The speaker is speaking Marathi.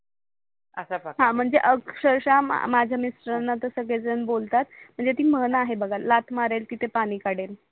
असा प्रकारे हा म्हणजे अक्षरक्षा माझ्या मिस्टर्नणा सगडेजण बोलतात म्हणजे ती मन आहे बगा लात मारेल तिथे पानी काडेल